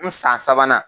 N san sabanan